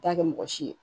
T'a kɛ mɔgɔ si ye